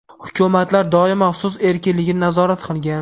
Hukumatlar doimo so‘z erkinligini nazorat qilgan.